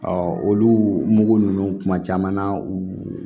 olu mugu ninnu kuma caman na u